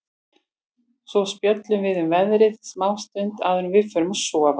Svo spjöllum við um veðrið smá stund áður en við förum að sofa.